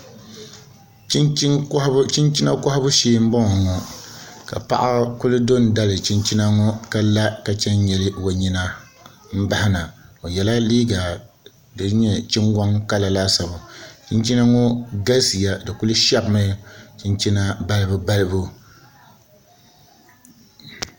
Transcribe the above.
Chinchina kohabu shee n boŋo ŋo ka paɣa ku do n dali chinchina ŋo ka la ka nyili o nyina n bahana o yɛla liiga din nyɛ chingoŋ kala laasabu chinchina ŋo galisiya di ku shɛbimi chinchina balibu balibu